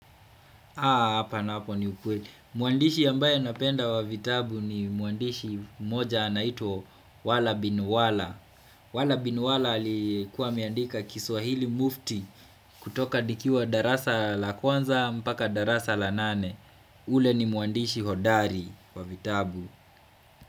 Haa hapa napo ni ukweli. Muandishi ambaye napenda wa vitabu ni muandishi moja anaitwa wala bin wala. Wala bin wala aliyekuwa ameandika kiswahili mufti kutoka nikiwa darasa la kwanza mpaka darasa la nane. Ule ni muandishi hodari wa vitabu.